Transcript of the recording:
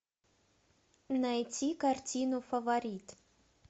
найти картину фаворит